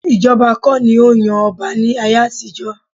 Ìjọba kọ́ ni ó ń yan ọba ní ayé àtijọ́